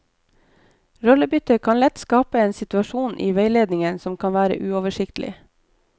Rollebytte kan lett skape en situasjon i veiledningen som kan være uoversiktlig.